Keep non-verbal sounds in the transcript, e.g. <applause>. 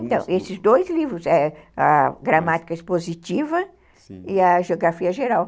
Então, esses dois livros, <unintelligible> a gramática expositiva e a geografia geral.